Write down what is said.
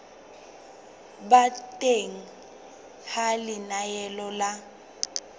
ba teng ha lenaneo la